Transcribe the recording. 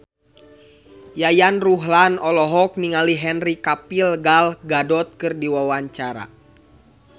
Yayan Ruhlan olohok ningali Henry Cavill Gal Gadot keur diwawancara